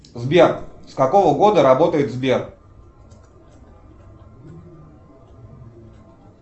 сбер с какого года работает сбер